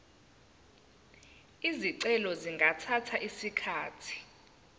izicelo zingathatha isikhathi